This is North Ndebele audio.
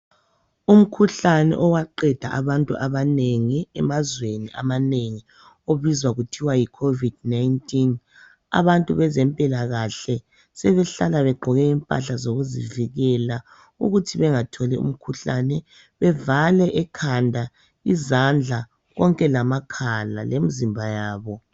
Umkhuhlane owaqeda. abantu abanengi emazweni amanengi obizwa kuthiwa yi COVID19 .Abantu bezempilakahle sebehlala begqoke impahla zokuzivikela ukuthi bengatholi umkhuhlane .Bevale ekhanda izandla konke lamakhala lemzimba yabo.